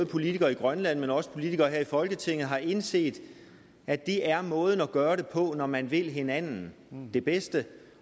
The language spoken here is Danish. politikere i grønland men også politikere her i folketinget har indset at det er måden at gøre det på når man vil hinanden det bedste